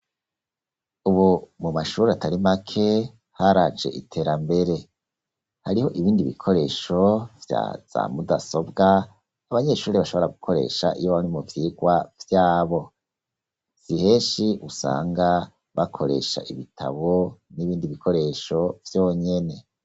Ubu mu mashur'atari make haraje iterambere, hariho ibindi bikoresho vya mudasobwa abanyeshurire bashobora gukoresha iyo bari mu vyirwa vyabo, siheshi usanga bakoresha ibitabo n'ibindi bikoresho vyonyene.